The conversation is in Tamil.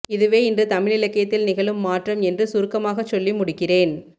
இதுவே இன்று தமிழிலக்கியத்தில் நிகழும் மாற்றம் என்று சுருக்கமாகச் சொல்லி முடிக்கிறேன்